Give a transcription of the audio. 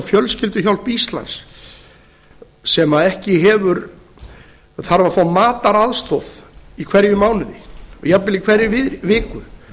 fjölskylduhjálp íslands sem þurfa að fá mataraðstoð í hverjum mánuði og jafnvel í hverri viku